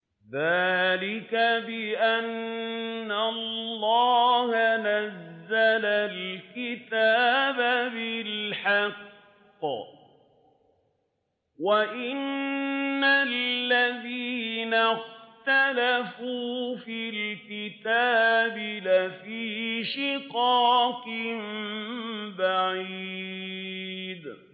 ذَٰلِكَ بِأَنَّ اللَّهَ نَزَّلَ الْكِتَابَ بِالْحَقِّ ۗ وَإِنَّ الَّذِينَ اخْتَلَفُوا فِي الْكِتَابِ لَفِي شِقَاقٍ بَعِيدٍ